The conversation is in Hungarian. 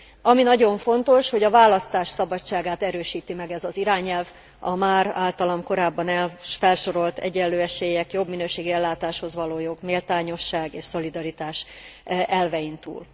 Ami nagyon fontos, hogy a választás szabadságát erősíti meg ez az irányelv, a már általam korábban felsorol egyenlő esélyek, jobb minőségű ellátáshoz való jog, méltányosság és szolidaritás elvein túl.